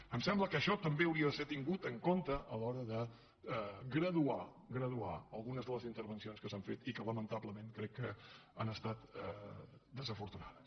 em sembla que això també hauria de ser tingut en compte a l’hora de graduar algunes de les intervencions que s’han fet i que lamentablement crec que han estat desafortunades